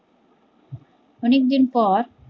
অনেক দিন পর